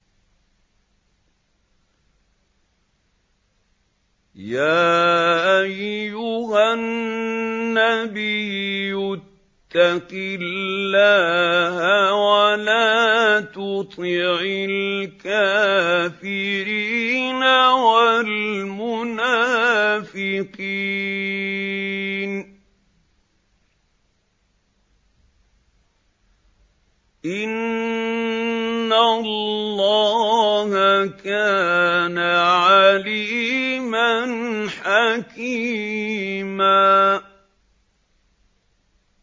يَا أَيُّهَا النَّبِيُّ اتَّقِ اللَّهَ وَلَا تُطِعِ الْكَافِرِينَ وَالْمُنَافِقِينَ ۗ إِنَّ اللَّهَ كَانَ عَلِيمًا حَكِيمًا